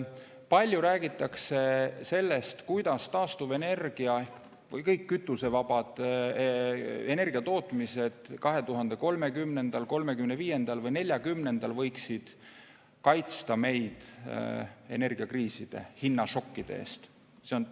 Palju räägitakse sellest, kuidas taastuvenergia ja kütusevabad energiatootmised 2030, 2035 või 2040 võiksid kaitsta meid energiakriiside hinnašokkide eest.